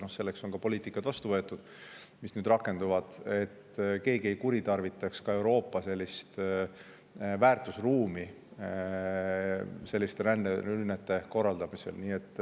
Ja selleks on ka poliitikad vastu võetud, mis nüüd rakenduvad, et keegi ei kuritarvitaks ka Euroopa väärtusruumi selliste ränderünnete korraldamisega.